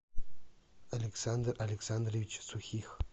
александр александрович сухих